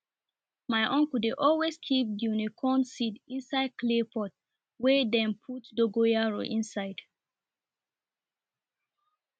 my uncle dey always keep guinea corn seed inside clay pot wey dem put dogoyaro inside